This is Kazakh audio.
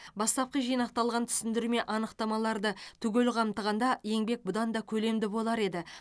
бастапқы жинақталған түсіндірме анықтамаларды түгел қамтығанда еңбек бұдан да көлемді болар еді